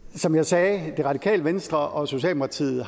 som jeg sagde har det radikale venstre og socialdemokratiet